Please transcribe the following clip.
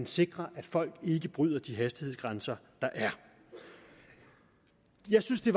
sikre at folk ikke bryder de hastighedsgrænser der er jeg synes det